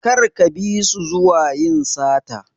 Kar ka bisu zuwa yin sata.